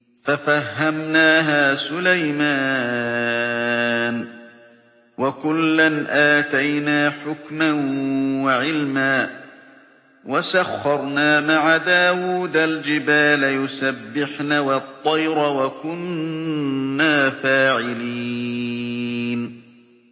فَفَهَّمْنَاهَا سُلَيْمَانَ ۚ وَكُلًّا آتَيْنَا حُكْمًا وَعِلْمًا ۚ وَسَخَّرْنَا مَعَ دَاوُودَ الْجِبَالَ يُسَبِّحْنَ وَالطَّيْرَ ۚ وَكُنَّا فَاعِلِينَ